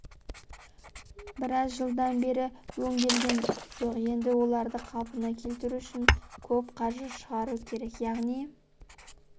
біраз жылдан бері өңделген жоқ енді оларды қалпына келтіру үшін көп қаржы шығару керек яғни